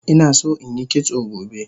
Inason inyi kitso gobe